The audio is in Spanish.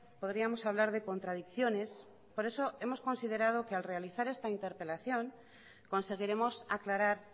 podríamos hablar de contradicciones por eso hemos considerado que al realizar esta interpelación conseguiremos aclarar